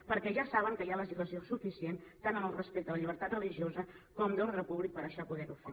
perquè ja saben que hi ha legislació suficient tant respecte a la llibertat religiosa com d’ordre públic per això poder ho fer